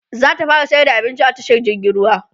zata fara sayar da abinci a tashar jirgin ruwa